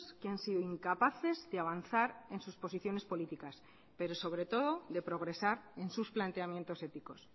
que han sido incapaces de avanzar en sus posiciones políticas pero sobre todo de progresar en sus planteamientos éticos